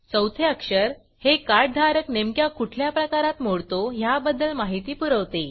चौथे अक्षर हे कार्डधारक नेमक्या कुठल्या प्रकारात मोडतो ह्याबद्दल माहिती पुरवते